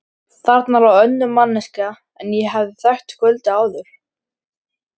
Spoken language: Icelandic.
Þarna lá önnur manneskja en ég hafði þekkt kvöldið áður.